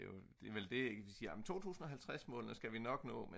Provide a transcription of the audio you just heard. det er vel det ik de siger jamen 2050-målene skal vi nok nå